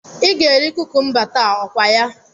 Ị ga-eri kukumba taa, okwaya?